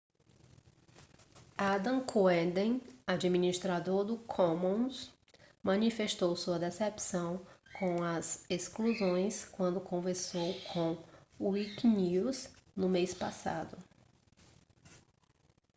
adam cuerden administrador do commons manifestou sua decepção com as exclusões quando conversou com o wikinews no mês passado